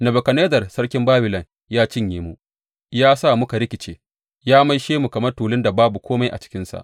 Nebukadnezzar sarkin Babilon ya cinye mu, ya sa muka rikice, ya maishe mu kamar tulun da babu kome a cikinsa.